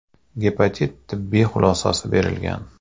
Gepatit” tibbiy xulosasi berilgan.